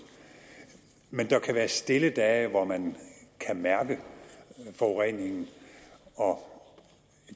men der kan være stille dage hvor man kan mærke forureningen og